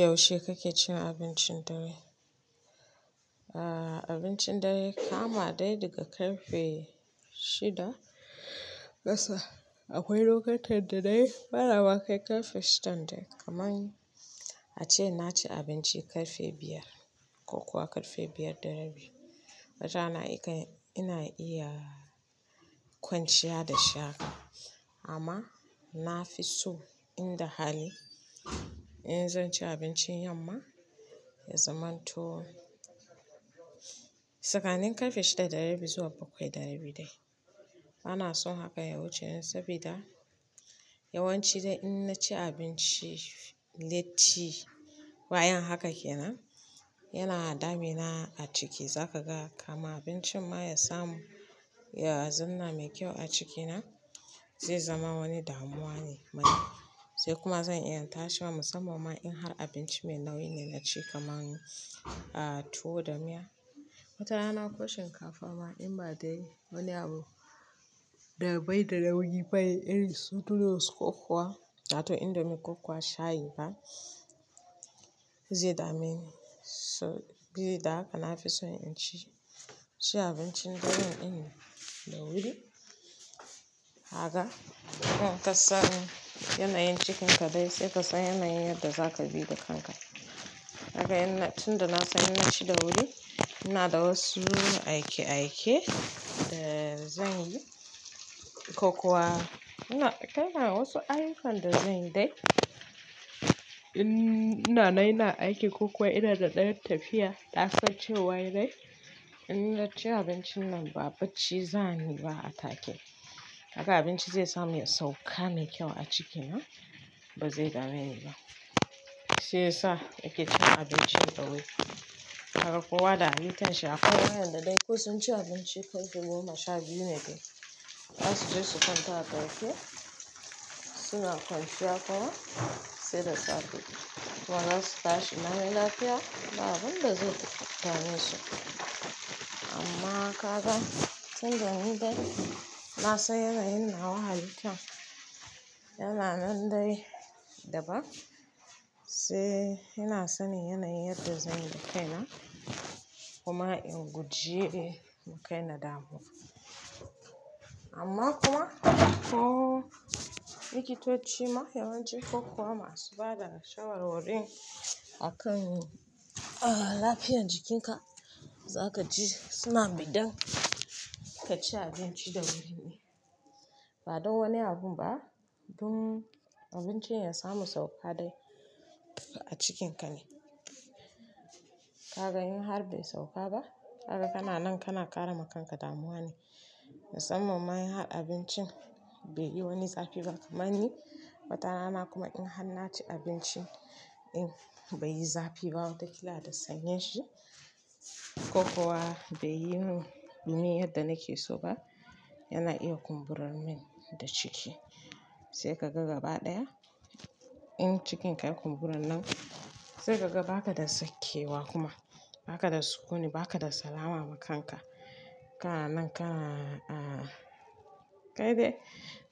Yaushe kake cin abincin dare? Abincin dare kama dai daga karfe shida gasa. Akwai lokutan da dai bana ba kai karfe shidan dai. Kamani ace na ci abinci karfe biyar ko kuwa karfe biyar da rabi. Watana ina iya kwanciya da shaka amma na fi so in da hali in zan ci abincin yamma ya zamanto tsakanin karfe shida da rabi zuwa bakwai da rabi dai. Bana son haka yawuceni sabida yawanci dai in na ci abinci latti bayan haka ke nan yana damina a ciki. Za ka ga kamin abincin ma ya samu yazanna mai kyau a cikina zai zama wani damuwa ne mani sai kuma zan iya yin tashi musamman ma in har abinci mai nauyi na ci kaman tuwo da miya. Watara na ko shinkafa ma in ba dai wani abu dabai da nauyi bane irin su noodles ko kuwa wato indomie ko kuwa shayi ba zai dame ni. So bili da haka na fi so in ci abincin dare ɗin da wuri. Kaga in kasani yanayin cikinka dai sai ka san yanayin yadda za ka bi da kanka. Haka yana tun da na san yana ci da wuri. Ina da wasu aike-aike da zan yi ko kuwa ina da wasu ayyukan da zan yi dai. In inanan ina aiki ko kuwa ina da ɗan tafiya nasan ce wai dai in na ci abincin nan ba bacci za ni ba a take. Kaga abinci zai samu yasauka mai kyau a cikina ba zai dame ni ba. Shi ya sa nake cin abinci dawuri. Kaga kowa da halittan shi akwai wa'yanda dai ko sun ci abinci karfe goma sha biyu ne dai bazasu je su kwanta ba sai ki suna kwanciya kuma sai da safe. Kuma za su tashi la mi lafiya ba abun da zai dame su. Amma ka ga tun da ni dai na san yanayin nawa halittan yana nan dai daban sai ina sanin yanayin yadda zan makaina kuma in gujiye makaina damuwa. Amma kuma ko likitocima yawanci ko kuwa masu bada shawarwari akan ah. Lafiyan jikinka zakaji suna idan kaci abinci dawuri ne. Ba don wani abun ba. Dun abincin yasamu sauka dai a cikinka ne. Ka ga in har bai sauka ba kaga kana nan kana ƙara ma kanka damuwa ne. Musamman ma in har abincin bai yi wani zafi ba kaman ni watara na kuma in har na ci abinci in bai yi zafi ba wata kila da sanyin shi ko kuwa bai yi nunin yadda nake so ba yana iya kumburar min da ciki. Sai ka ga gaba ɗaya in cikinka ya kumbura nan sai ka ga ba ka da sakewa kuma ba ka da sukuni ba ka da salama ma kanka. Kana nan kana kai dai.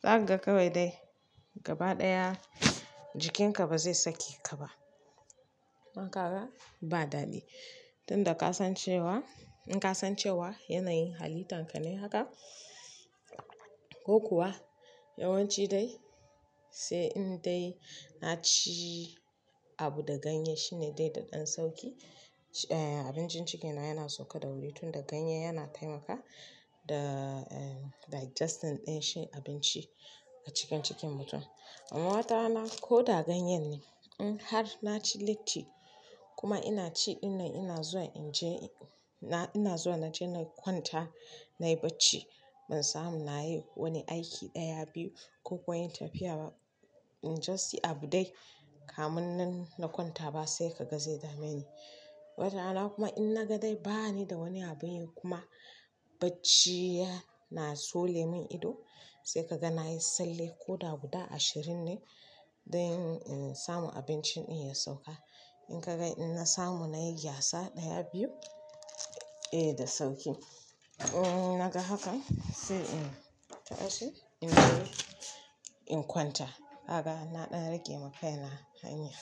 Za ka ga kawai dai gaba ɗaya jikinka ba zai sakeka ba. Haka ka ga ba dadi. Tun da ka san cewa in ka san cewa yanayin halittan ka ne haka ko kuwa yawanci dai sai in dai na ci abu da ganye shine dai daɗan sauƙi. Abincin cikina yana sauka da wuri tun da ganye yana taimaka da digesting ɗin shi abinci a cikin cikin mutum. Amma watarana ko da ganye ne in har na ci latti kuma ina ci ina ina zuwa in je ina zuwa na je na kwanta na yi bacci ban samu na yi wani aiki ɗaya biyu ko kuwa inyi tafiya ba. Just see abu dai kaminnan na kwanta ba sai kaga zai dameni watarana kuma inna ga dai bani da wani abunyi kuma bacci yana tsole min ido sai kaga nayi tsalle ko da guda ashirin ne. Dan insamu abincin ɗin ya sauƙa. In ka ga in na samu na yi yatsa ɗaya biyu eh da sauƙi. In na ga hakan sai in tashi in je in kwanta. Kaga na ɗan rage makaina hanya.